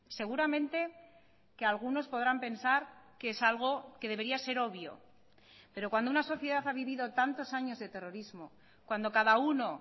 seguramente que algunos podrán pensar que es algo que debería ser obvio pero cuando una sociedad ha vivido tantos años de terrorismo cuando cada uno